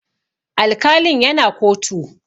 Alkalin ya na kotu